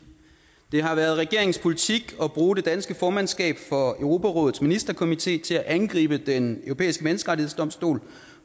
det har været regeringens politik at bruge det danske formandskab for europarådets ministerkomité til at angribe den europæiske menneskerettighedsdomstol